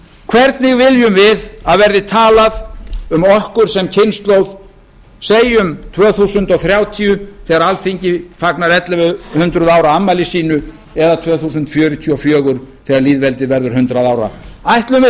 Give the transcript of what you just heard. hvernig viljum við að verði talað um okkur sem kynslóð segjum tvö þúsund þrjátíu þegar alþingi fagnar ellefu hundruð ára afmæli sínu eða tvö þúsund fjörutíu og fjögur þegar lýðveldið verður hundrað ára ætlum við þá